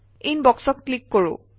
ইনবক্সত ক্লিক কৰোঁ আহক